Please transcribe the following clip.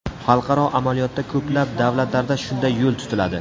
Xalqaro amaliyotda ko‘plab davlatlarda shunday yo‘l tutiladi.